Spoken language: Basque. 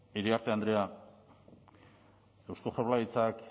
iriarte andrea eusko jaurlaritzak